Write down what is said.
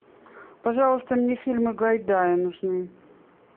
пожалуйста мне фильмы гайдая нужны